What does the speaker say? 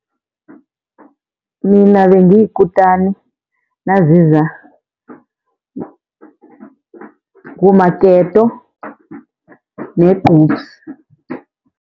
Mina bengiyikutani naziza kumaketo negqubsi.